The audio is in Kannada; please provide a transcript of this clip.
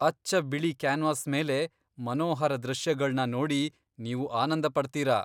ಅಚ್ಚ ಬಿಳಿ ಕ್ಯಾನ್ವಾಸ್ ಮೇಲೆ ಮನೋಹರ ದೃಶ್ಯಗಳ್ನ ನೋಡಿ ನೀವು ಆನಂದಪಡ್ತೀರ.